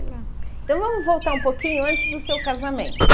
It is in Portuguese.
Então vamos voltar um pouquinho antes do seu casamento.